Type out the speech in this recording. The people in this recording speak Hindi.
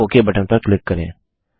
अब ओक बटन पर क्लिक करें